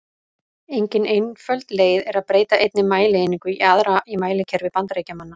Engin einföld leið er að breyta einni mælieiningu í aðra í mælikerfi Bandaríkjamanna.